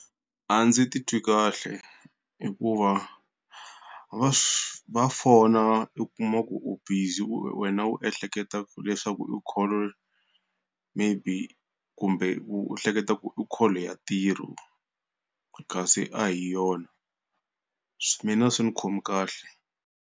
A ndzi titwi kahle hikuva, va swi va fona i kuma ku u busy u wena u ehleketa leswaku i call maybe kumbe u u hleketa ku i call ya ntirho kasi a hi yona. Mina a swi ni khomi kahle.